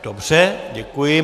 Dobře, děkuji.